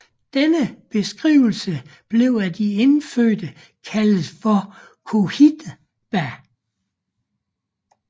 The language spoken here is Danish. Denne beskrivelse blev af de indfødte kaldet for Cohiba